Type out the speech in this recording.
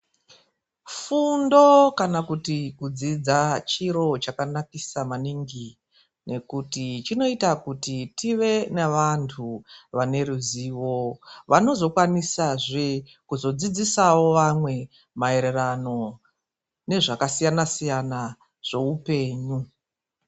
Fundo kana kuti kudzidza, chiro chakanaksa maningi ngekuti chinoita kuti tive nevantu vane ruzivo vanozokwanisazve kuzodzidzisawo vamwe maererano nezvakasiyana siyana zveupenyu .